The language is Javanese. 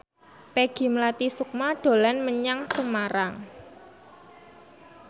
Peggy Melati Sukma dolan menyang Semarang